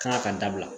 Kanga ka dabila